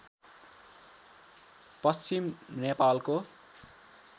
पश्चिम नेपालको